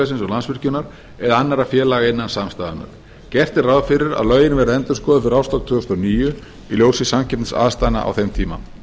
og landsvirkjunar eða annarra félaga innan samstæðunnar gert er ráð fyrir að lögin verði endurskoðuð fyrir árslok tvö þúsund og níu í ljósi samkeppniaðstæðna á þeim tíma